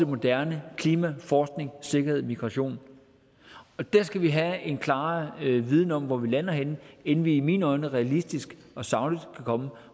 moderne klima forskning sikkerhed og migration og der skal vi have en klarere viden om hvor vi lander henne inden vi i mine øjne realistisk og sagligt kan komme